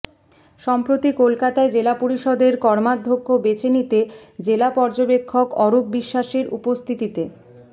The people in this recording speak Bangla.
সম্প্রতি কলকাতায় জেলা পরিষদের কর্মাধ্যক্ষ বেছে নিতে জেলা পর্যবেক্ষক অরূপ বিশ্বাসের উপস্থিতিতে